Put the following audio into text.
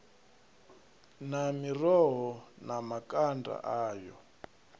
na miroho na makanda ayo